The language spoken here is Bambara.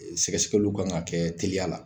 Sɛgɛsɛgɛliw ka kan ka kɛ teliya la.